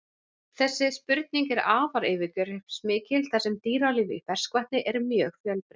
Þessi spurning er afar yfirgripsmikil þar sem dýralíf í ferskvatni er mjög fjölbreytt.